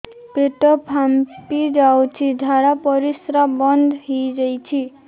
ପେଟ ଫାମ୍ପି ଯାଇଛି ଝାଡ଼ା ପରିସ୍ରା ବନ୍ଦ ହେଇଯାଇଛି